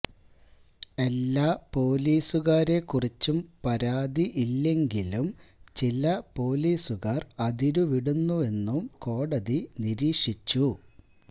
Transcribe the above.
എല്ലാ പൊലീസുകാരെ കുറിച്ചും പരാതി ഇല്ലെങ്കിലും ചില പോലീസുകാർ അതിരുവിടുന്നെന്നും കോടതി നിരീക്ഷിച്ചു